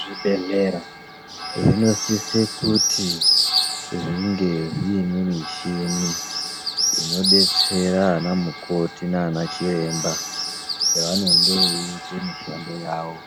Zvibhedhlera zvinosise kuti zvinge zviine mishini inobetsera vana mukoti nana chiremba pavanenge vechiita mishando yavo